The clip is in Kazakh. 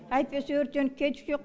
әйтпесе өртеніп кетуші ек